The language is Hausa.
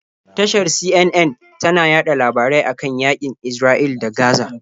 Tashar CNN tana yaɗa labarai a kan yaƙin Isra'ila da Gaza.